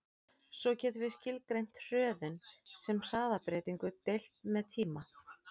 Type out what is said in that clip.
Svo getum við skilgreint hröðun sem hraðabreytingu deilt með tíma.